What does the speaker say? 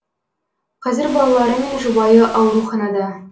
қазір балалары мен жұбайы ауруханада